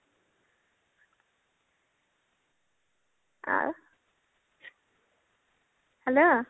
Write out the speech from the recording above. hello